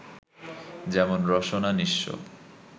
যেমন রসনা নি:স্ব